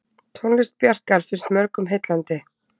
Tónlist Bjarkar finnst mörgum heillandi.